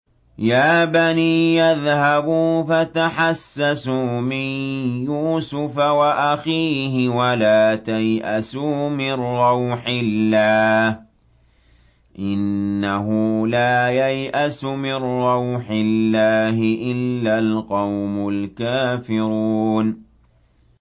يَا بَنِيَّ اذْهَبُوا فَتَحَسَّسُوا مِن يُوسُفَ وَأَخِيهِ وَلَا تَيْأَسُوا مِن رَّوْحِ اللَّهِ ۖ إِنَّهُ لَا يَيْأَسُ مِن رَّوْحِ اللَّهِ إِلَّا الْقَوْمُ الْكَافِرُونَ